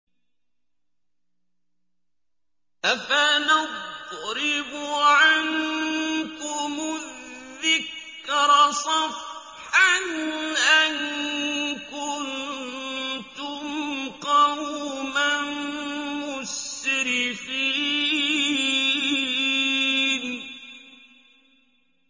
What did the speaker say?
أَفَنَضْرِبُ عَنكُمُ الذِّكْرَ صَفْحًا أَن كُنتُمْ قَوْمًا مُّسْرِفِينَ